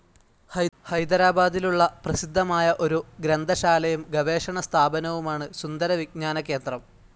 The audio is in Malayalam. ഹൈദരാബാദിലുള്ള പ്രസിദ്ധമായ ഒരു ഗ്രന്ഥശാലയും ഗവേഷണ സ്ഥാപനവുമാണ് സുന്ദര വിജ്ഞാന കേന്ദ്രം.